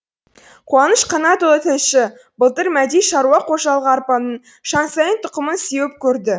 қуаныш қанатұлы тілші былтыр мәди шаруа қожалығы арпаның шансайн тұқымын сеуіп көрді